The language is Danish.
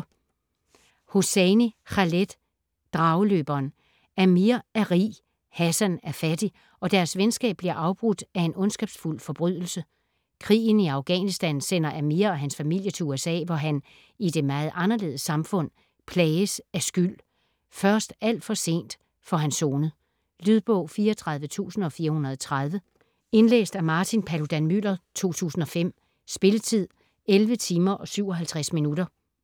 Hosseini, Khaled: Drageløberen Amir er rig, Hassan er fattig, og deres venskab bliver afbrudt af en ondskabsfuld forbrydelse. Krigen i Afghanistan sender Amir og hans familie til USA, hvor han - i det meget anderledes samfund - plages af skyld. Først alt for sent får han sonet. Lydbog 34430 Indlæst af Martin Paludan-Müller, 2005. Spilletid: 11 timer, 57 minutter.